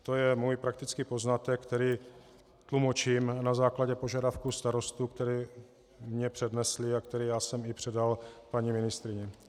To je můj praktický poznatek, který tlumočím na základě požadavku starostů, který mi přednesli a který já jsem i předal paní ministryni.